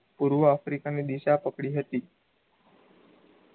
પૂર્વ આફ્રિકાની દિશા પકડી હતી